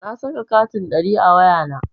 Na saka katin ɗari a wayana.